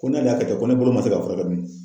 Ko n'ale y'a kɛ ten ko ni bolo man se ka fura kɛ dun.